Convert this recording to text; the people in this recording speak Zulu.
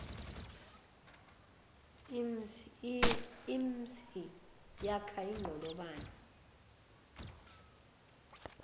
imhsi yakha inqolobane